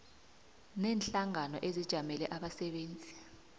neenhlangano ezijamele abasebenzi